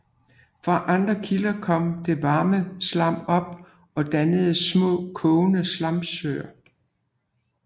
Fra andre kilder kommer der varmt slam op og danner små kogende slamsøer